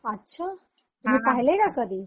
अच्छा, तुम्ही पाहिल्या आहे का कधी?